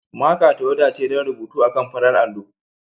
Maka tawada ce don rubutu akan farar allo.